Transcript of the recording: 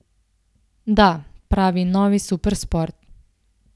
Da, prav novi supersport.